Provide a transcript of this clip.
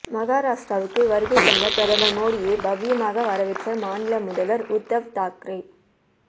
மகாராஷ்டிராவுக்கு வருகை தந்த பிரதமர் மோடியைப் பவ்யமாக வரவேற்றார் மாநில முதல்வர் உத்தவ் தாக்கரே